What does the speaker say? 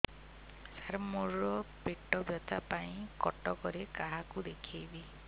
ସାର ମୋ ର ପେଟ ବ୍ୟଥା ପାଇଁ କଟକରେ କାହାକୁ ଦେଖେଇବି